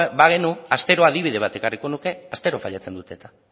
bagenu astero adibide bat ekarriko nuke astero failatzen dute eta